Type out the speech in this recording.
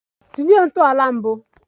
Tinye ntọala mbụ!